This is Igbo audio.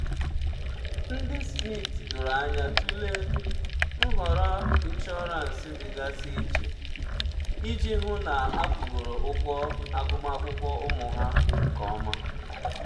ndị smith doro anya tụlee nhọrọ inshọransị dịgasị iche iji hụ na akwụgoro ụgwọ agụmakwụkwọ ụmụ ha nke ọma.